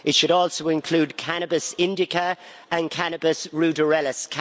It should also include cannabis indica and cannabis ruderalis.